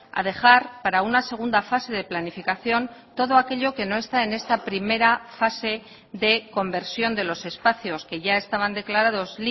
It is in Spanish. a dejar para una segunda fase de planificación todo aquello que no está en esta primera fase de conversión de los espacios que ya estaban declarados